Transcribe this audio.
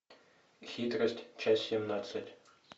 хитрость часть семнадцать